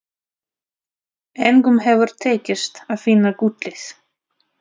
Engum hefur tekist að finna gullið.